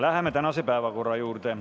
Läheme tänase päevakorra juurde.